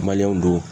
don